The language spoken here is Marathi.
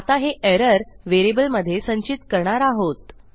आता हे एरर व्हेरिएबलमधे संचित करणार आहोत